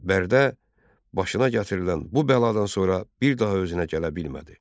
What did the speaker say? Bərdə başına gətirilən bu bəladan sonra bir daha özünə gələ bilmədi.